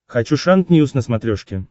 хочу шант ньюс на смотрешке